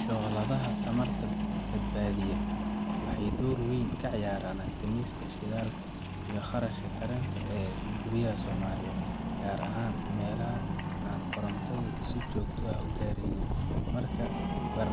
Shooladaha tamarta badbaadiya waxay door weyn ka ciyaaraan dhimista shidaalka iyo kharashka karinta ee guryaha Soomaaliyeed, gaar ahaan meelaha aan korontadu si joogto ah u gaarin. Marka la